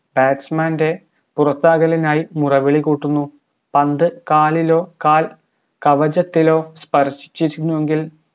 batsman ൻറെ പുറത്താക്കലിനായി മുറവിളി കൂട്ടുന്നു പന്ത് കാലിലോ കാൽ കവചത്തിലോ സ്പർശിച്ചിരുന്നു എങ്കിൽ